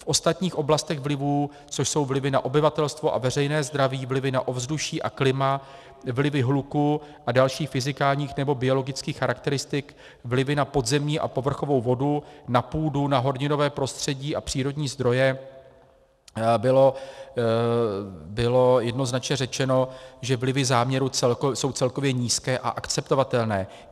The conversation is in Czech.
V ostatních oblastech vlivů, což jsou vlivy na obyvatelstvo a veřejné zdraví, vlivy na ovzduší a klima, vlivy hluku a dalších fyzikálních nebo biologických charakteristik, vlivy na podzemní a povrchovou vodu, na půdu, na horninové prostředí a přírodní zdroje, bylo jednoznačně řečeno, že vlivy záměru jsou celkově nízké a akceptovatelné.